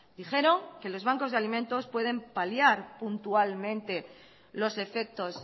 dijeron que los bancos de alimentos pueden paliar puntualmente los efectos